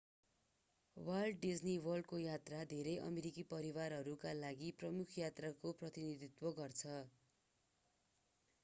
volt Disney वर्ल्डको यात्रा धेरै अमेरिकी परिवारहरूका लागि प्रमुख यात्राको प्रतिनिधित्व गर्छ